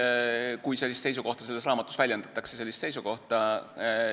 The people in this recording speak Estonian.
Kui sellist seisukohta selles raamatus väljendataksegi, siis ma ei jaga kindlasti sellist seisukohta.